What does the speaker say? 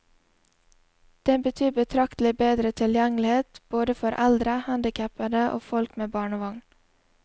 Det betyr betraktelig bedre tilgjengelighet både for eldre, handicappede og folk med barnevogn.